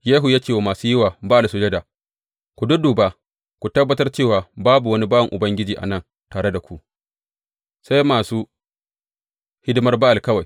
Yehu ya ce wa masu yi wa Ba’al sujada, Ku dudduba ku tabbatar cewa babu wani bawan Ubangiji a nan tare da ku, sai masu hidimar Ba’al kawai.